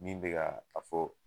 Min be ka a fɔ